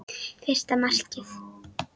Fyrsta markið?